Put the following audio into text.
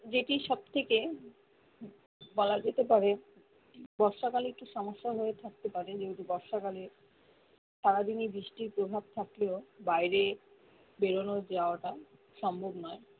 যেটি সবথেকে বলা যেতে পারে বর্ষাকালে একটু সমস্যা হয়ে থাকতে পারে যেহেতু বর্ষা কালে সারাদিন ই বৃষ্টির প্রভাব থাকলেও বাইরে বেরোনো যাওয়াটাও সম্ভব নয়